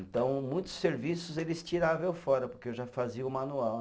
Então, muitos serviços eles tiravam eu fora, porque eu já fazia o manual.